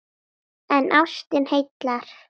En ástin heilar!